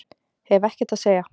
Hef ekkert að segja